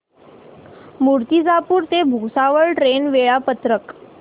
मूर्तिजापूर ते भुसावळ ट्रेन चे वेळापत्रक